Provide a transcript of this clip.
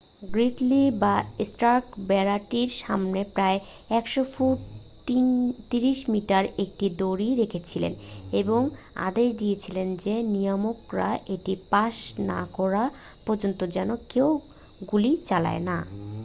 গ্রিডলি বা স্টার্ক বেড়াটির সামনে প্রায় ১০০ ফুট ৩০ মিটার একটি দড়ি রেখেছিলেন এবং আদেশ দিয়েছিলেন যে নিয়ামকরা এটি পাশ না করা পর্যন্ত যেন কেউ গুলি চালায় না।